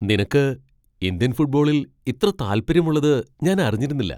നിനക്ക് ഇന്ത്യൻ ഫുട്ബോളിൽ ഇത്ര താല്പര്യള്ളത് ഞാൻ അറിഞ്ഞിരുന്നില്ല.